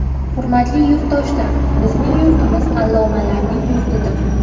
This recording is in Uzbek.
Hurmatli yurtdoshlar, bizning yurtimiz allomalarning yurtidir.